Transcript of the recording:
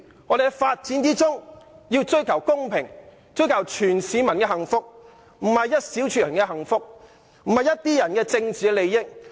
我們要在發展中追求公平，以及謀取所有市民的幸福，而不是只為了一小撮人的幸福或一些人的政治利益。